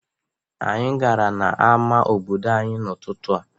Anyị gara n'ama obodo anyị n'ụtụtụ a.